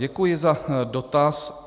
Děkuji za dotaz.